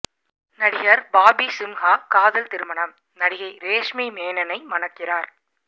நடிகர் பாபி சிம்ஹா காதல் திருமணம் நடிகை ரேஷ்மி மேனனை மணக்கிறார்